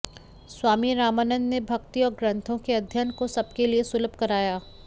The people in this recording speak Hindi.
स्वामी रामानंद ने भक्ति और ग्रंथों के अध्ययन को सबके लिए सुलभ कराया